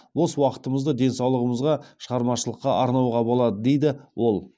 бос уақытымызды денсаулығымызға шығармашылыққа арнауға болады дейді ол